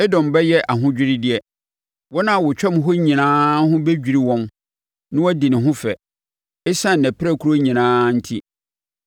“Edom bɛyɛ ahodwiredeɛ; wɔn a wɔtwam hɔ nyinaa ho bɛdwiri wɔn na wɔadi ne ho fɛ ɛsiane nʼapirakuro nyinaa enti.